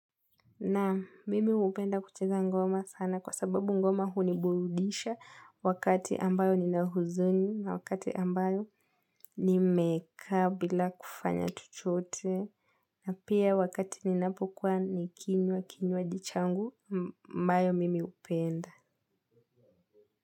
Na mimi hupenda kucheza ngoma sana kwa sababu ngoma huniburudisha wakati ambayo ninahuzuni na wakati ambayo nimekaa bila kufanya chochote na pia wakati ninapokuwa nikinywa kinywaji changu ambayo mimi hupenda.